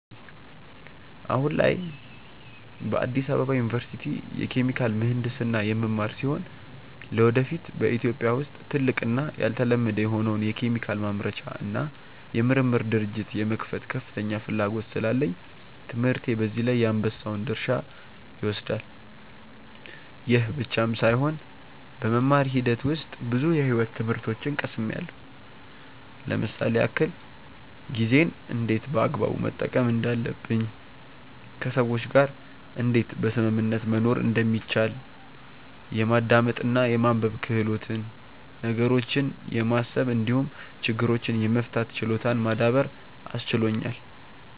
አሁን ላይ በአዲስ አበባ ዩኒቨርሲቲ የኬሚካል ምሕንድስና የምማር ሲሆን ለወደፊት በኢትዮጵያ ውስጥ ትልቅ እና ያልተለመደ የሆነውን የኬሚካል ማምረቻ እና የምርምር ድርጅት የመክፈት ከፍተኛ ፍላጎት ስላለኝ ትምህርቴ በዚህ ላይ የአንበሳውን ድርሻ ይወስዳል። ይህ ብቻም ሳይሆን በመማር ሂደት ውስጥ ብዙ የሕይወት ትምህርቶችን ቀስምያለው ለምሳሌ ያክል፦ ጊዜን እንዴት በአግባቡ መጠቀም እንዳለብኝ፣ ከሰዎች ጋር እንዴት በስምምነት መኖር እንደሚቻል፣ የማዳመጥ እና የማንበብ ክህሎትን፣ ነገሮችን የማሰብ እንዲሁም ችግሮችን የመፍታት ችሎታን ማዳበር አስችሎኛል።